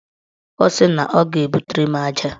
Ọ sị na ọ ga-ebutere m aja.